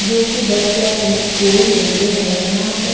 जो कि बच्चे अपने स्कूल लेते हैं यहां पे।